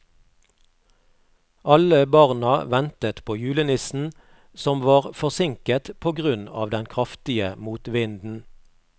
Alle barna ventet på julenissen, som var forsinket på grunn av den kraftige motvinden.